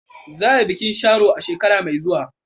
Za a yi bikin Sharo a shekara mai zuwa.